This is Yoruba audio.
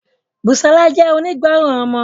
Busola jẹ́ onígbọràn ọmọ.